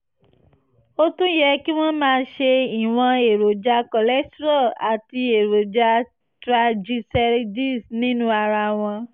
ó tún yẹ kí wọ́n máa ṣọ́ ìwọ̀n èròjà cholesterol àti èròjà triglycerides nínú ara wọn